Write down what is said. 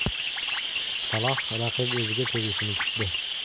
Saloh raqib o‘ziga tegishini kutdi.